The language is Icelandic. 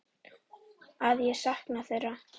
Að ég sakna þeirra.